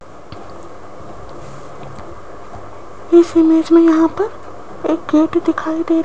इस इमेज में यहां पर एक गेट दिखाई दे --